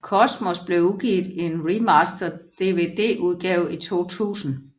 Cosmos blev udgivet i en remastered Dvdudgave i 2000